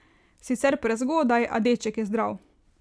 Sicer prezgodaj, a deček je zdrav.